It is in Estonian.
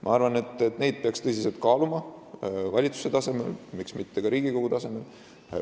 Ma arvan, et seda peaks tõsiselt kaaluma valitsuse tasemel, miks mitte ka Riigikogu tasemel.